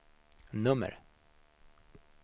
nummer